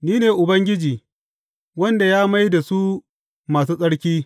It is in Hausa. Ni ne Ubangiji, wanda ya mai da su masu tsarki.